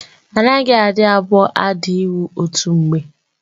Anaghị adị abụọ ada iwu otu mgbe.